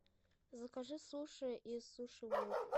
закажи суши из суши вок